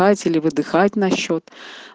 вдыхать или выдыхать на счёт